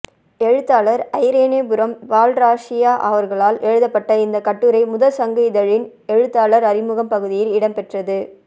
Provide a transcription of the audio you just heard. எழுத்தாளர் ஐரேனிபுரம் பால்ராசய்யா அவர்களால் எழுதப்பட்ட இந்த கட்டுரை முதற்சங்கு இதழின் எழுத்தாளர் அறிமுகம் பகுதியில் இடம்பெற்றது